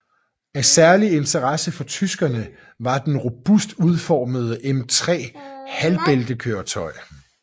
Af særlig interesse for tyskerne var den robust udformede M3 halvbæltekøretøj